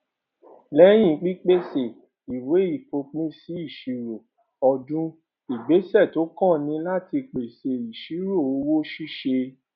lẹyìn pípèsè ìwé ìfòpinsí ìṣirò ọdún ìgbésẹ tó kàn ni láti pèsè ìṣirò òwò ṣíṣe